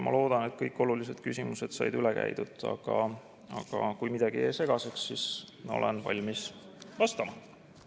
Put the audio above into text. Ma loodan, et kõik olulised küsimused said üle käidud, aga kui midagi jäi segaseks, siis olen valmis vastama.